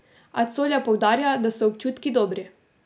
A Colja poudarja, da so občutki dobri.